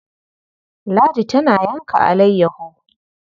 Ladi tana yanka alayyaho.